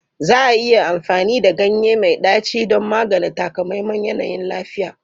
Za a iya amfani da ganye mai ɗaci don magance takamaiman yanayin lafiya?